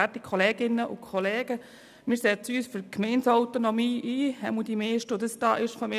Wir setzen uns für die Gemeindeautonomie ein, jedenfalls die meisten von uns.